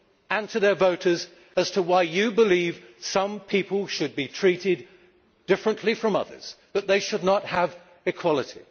and to their voters as to why you believe some people should be treated differently from others, that they should not have equality.